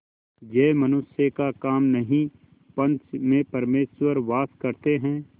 यह मनुष्य का काम नहीं पंच में परमेश्वर वास करते हैं